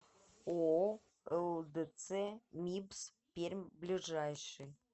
ооо лдц мибс пермь ближайший